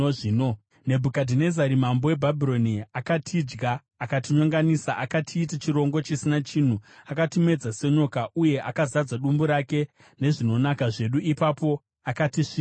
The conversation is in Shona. “Nebhukadhinezari mambo weBhabhironi akatidya, akatinyonganisa, akatiita chirongo chisina chinhu. Akatimedza senyoka, uye akazadza dumbu rake nezvinonaka zvedu, mushure maizvozvo akatisvipa.